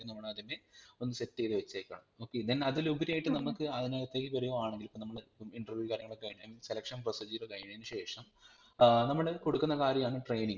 നമ്മൾ അതിനെ ഇപ്പം set ചെയ്‌തുവെച്ചെക്കുവാണ് okay then അതിലുപരിയായിട്ട് നമ്മക് അതിനകത്തേക് വരുവാണെങ്കിൽ ഇപ്പം നമ്മള് Interview കാര്യങ്ങളൊക്കെ കഴിഞ്ഞായിന് selection procedure കഴിഞ്ഞത്തിന് ശേഷം ഏർ നമ്മൾ കൊടുക്കുന്ന കാര്യാണ് training